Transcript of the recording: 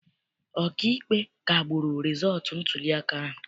Ọkaikpe kagburu rịzọọtụ ntuliaka ahụ.